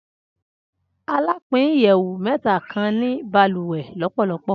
Alapin iyẹwu mẹta kan ni baluwe lọpọlọpọ.